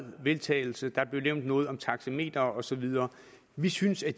vedtagelse der blev nævnt noget om taxametre og så videre vi synes at